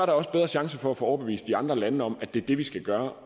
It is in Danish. også bedre chancer for at få overbevist de andre lande om at det er det vi skal gøre